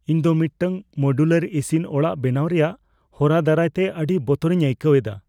ᱤᱧ ᱫᱚ ᱢᱤᱫᱴᱟᱝ ᱢᱚᱰᱤᱭᱩᱞᱟᱨ ᱤᱥᱤᱱ ᱚᱲᱟᱜ ᱵᱮᱱᱟᱣ ᱨᱮᱭᱟᱜ ᱦᱚᱨᱟ ᱫᱟᱨᱟᱭᱛᱮ ᱟᱹᱰᱤ ᱵᱚᱛᱚᱨᱤᱧ ᱟᱹᱭᱠᱟᱹᱣ ᱮᱫᱟ ᱾